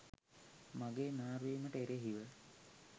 මගේ මාරු වීමට එරෙහිව